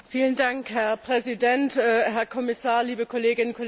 Herr Präsident, Herr Kommissar, liebe Kolleginnen und Kollegen!